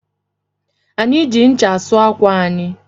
Anyị ji ncha asụ ákwà anyị